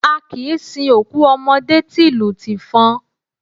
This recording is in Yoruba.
A kìí sin òkú ọmọdé tìlù tìfọn.